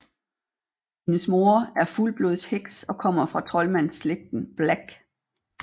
Hendes mor er fuldblodsheks og kommer fra troldmandslægten Black